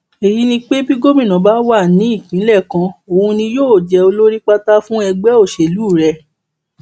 èyí ni pé bí gómìnà bá wà ní ìpínlẹ kan òun ni yóò jẹ olórí pátá fún ẹgbẹ òṣèlú rẹ